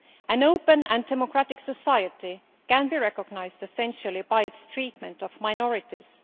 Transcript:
An open and democratic society can be recognised essentially by its treatment of minorities.